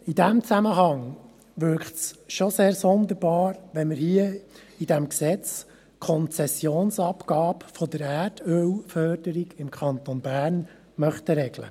In diesem Zusammenhang wirkt es schon sehr sonderbar, wenn wir hier in diesem Gesetz die Konzessionsabgabe für die Erdölförderung im Kanton Bern regeln möchten.